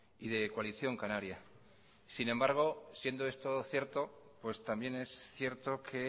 y de coalición canaria sin embargo siendo esto cierto pues también es cierto que